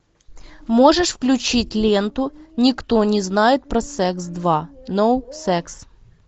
можешь включить ленту никто не знает про секс два ноу секс